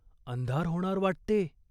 अंधार होणार वाटते !